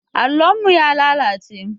Allon mu ya lalace.